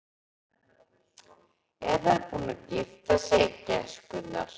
Eru þær búnar að gifta sig, gæskurnar?